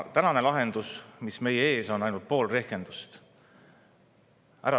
Tänane lahendus, mis meie ees on, on ainult pool rehkendust.